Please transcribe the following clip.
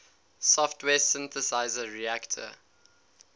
software synthesizer reaktor